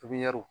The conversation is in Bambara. Pipiniyɛri